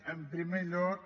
en primer lloc